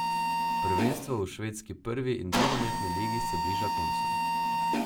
Prvenstvo v švedski prvi in drugi nogometni ligi se bliža koncu.